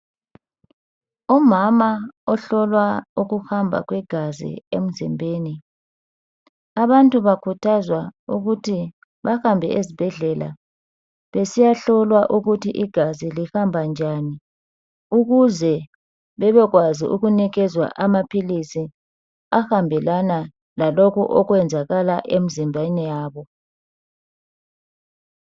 Umama ohlolwa ukuhama kwegazi emzimbeni. Abantu bakhuthazwa ukuthi bahambe ezibhedlela besiyahlolwa ukuthi igazi lihamba njani ukuze bebekwazi ukunikezwa amaphilisi ahambelana lalokhu okwenzakala emzimbeni yabo.